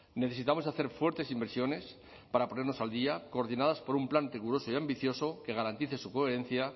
necesitamos hacer fuertes inversiones para ponernos al día coordinadas por un plan riguroso y ambicioso que garantice su coherencia